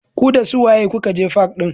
Ku dasu waye kuka je fak ɗin?